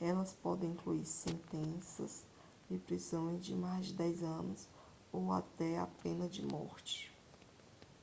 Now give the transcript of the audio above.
elas podem incluir sentenças de prisão de mais de 10 anos ou até pena de morte